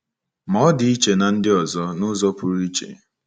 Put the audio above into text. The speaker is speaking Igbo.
Ma, ọ dị iche na ndi ọzọ, n’ụzọ pụrụ iche.